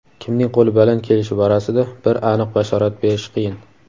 Kimning qo‘li baland kelishi borasida bir aniq bashorat berish qiyin.